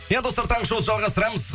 иә достар таңғы шоуды жалғастырамыз